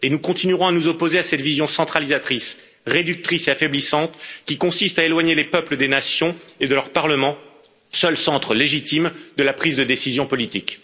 Nous continuerons à nous opposer à cette vision centralisatrice, réductrice et affaiblissante, qui consiste à éloigner les peuples des nations et de leurs parlements, seuls centres légitimes de la prise de décision politique.